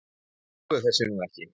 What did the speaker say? Ég trúi þessu nú ekki!